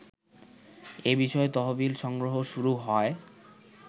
এবিষয়ে তহবিল সংগ্রহ শুরু হয়